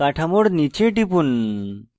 কাঠামোর নীচে টিপুন